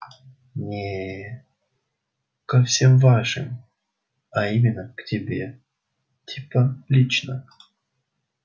не ко всем вашим а именно к тебе типа лично